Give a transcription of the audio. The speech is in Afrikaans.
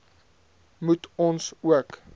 moet ons ook